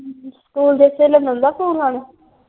School ਦੇ .